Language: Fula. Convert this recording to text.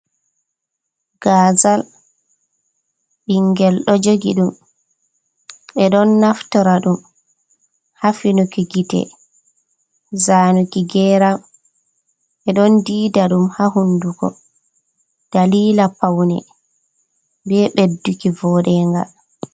Gazal bingel ɗo jogi ɗum. be ɗon naftora ɗum ha finuki gite, zanuki geram. Be ɗon ɗiiɗa dum ha hunduko. Ɗalila paune be beɗɗuki voɗenga.